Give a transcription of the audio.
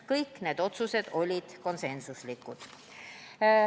Kõik need otsused olid konsensuslikud.